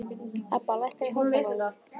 Ebba, lækkaðu í hátalaranum.